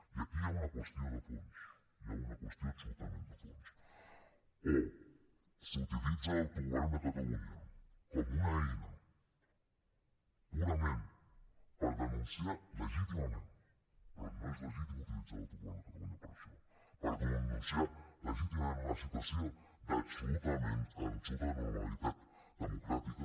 i aquí hi ha una qüestió de fons hi ha una qüestió absolutament de fons o s’utilitza l’autogovern de catalunya com una eina purament per denunciar legítimament però no és legítim utilitzar l’autogovern de catalunya per a això per denunciar legítimament una situació d’absoluta anormalitat democràtica